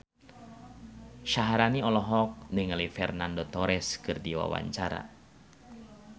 Syaharani olohok ningali Fernando Torres keur diwawancara